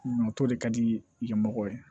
Ɲɔ t'o de ka di i ye mɔgɔ ye